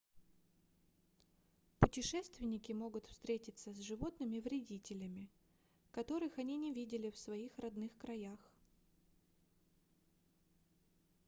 путешественники могут встретиться с животными-вредителями которых они не видели в своих родных краях